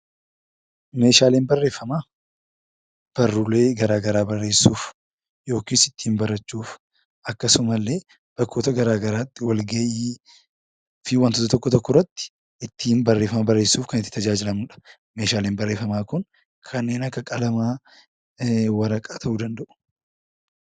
Meeshaaleen barreeffamaa barruulee garaagaraa barreessuuf, yokiis ittiin barachuuf akkasuma illee bakkoota garaagaraatti walgahii fi waantota tokko tokko irratti ittiin barreeffama barreessuuf kan itti tajaajilamnudha. Meeshaaleen barreeffamaa kun kanneen akka qalamaa, waraqaa ta'uu danda'u.